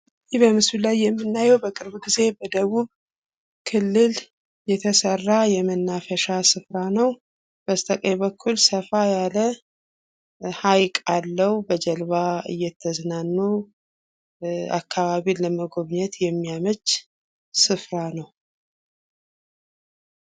ይህ በምስሉ ላይ የምናየው በቅርብ ጊዜ በደቡብ ክልል የተሰራ የመናፈሻ ስፍራ ነው ፤ በስተቀኝ በኩል ሰፋ ያለ ሃይቅ አለው በጀልባ እየተዝናኑ አከባቢን ለመጎብኘት የሚያመች ስፍራ ነው።